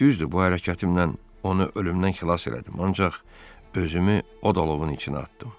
Düzdür, bu hərəkətimlə onu ölümdən xilas elədim, ancaq özümü od-alovun içinə atdım.